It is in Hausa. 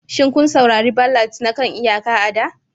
Shin kun saurari ballads na kan iyaka a da?